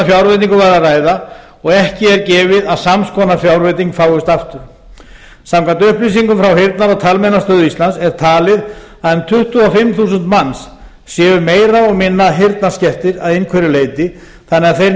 var að ræða og ekki er gefið að sams konar fjárveiting fáist aftur samkvæmt upplýsingum frá heyrnar og talmeinastöð íslands er talið að um tuttugu og fimm þúsund manns séu meira og minna heyrnarskertir að einhverju leyti þannig að þeir